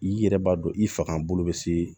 I yɛrɛ b'a dɔn i faga bolo be se